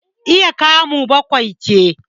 iya kamu bakwai ce